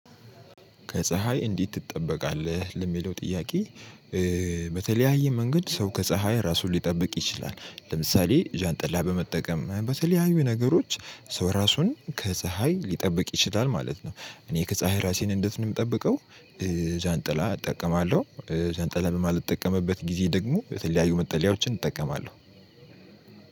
ከፀሀይ እንዴት ትጠበቃለህ ለሚለው ጥያቄ? በተለያየ መንገድ ሰው ከ ፀሀይ ራሱን ሊጠብቅ ይችላል ለምሳሌ ጃንጥላ በመጠቀም በተለያዩ ነገሮች ሰው ራሱን ከ ፀሀይ ሊጠብቅ ይችላል ማለት ነው። እኔ ከ ፀሀይ ራሴን እንዴት ነው የምጠብቀው? ጃንጥላ እጠቀማለሁ ጃንጥላ በማልጠቀምበት ጊዜ ደግሞ የተለያዩ መጠለያዎችን እጠቀማለሁ።